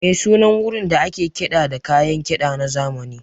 Me sunan wurin da ake kiɗa da kayan kiɗa na zamani?